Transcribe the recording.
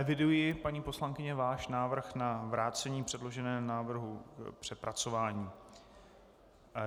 Eviduji, paní poslankyně, váš návrh na vrácení předloženého návrhu k přepracování.